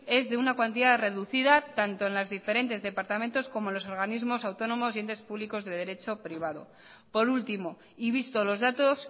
es de una cuantía reducida tanto en los diferentes departamentos como los organismos autónomos y entes públicos de derecho privado por último y visto los datos